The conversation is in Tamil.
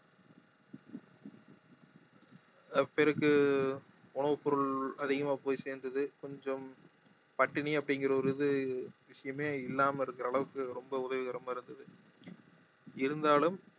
பேருக்கு உணவு பொருள் அதிகமா போய் சேர்ந்தது கொஞ்சம் பட்டினி அப்படிங்கறது ஒரு இது விஷயமே இல்லாம இருக்குற அளவுக்கு ரொம்ப உதவிகரமாக இருந்தது இருந்தாலும்